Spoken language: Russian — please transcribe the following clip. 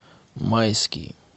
майский